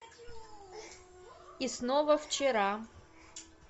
и снова вчера